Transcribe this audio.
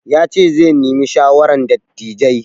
Ya ce zai nemi shawaran dattijai.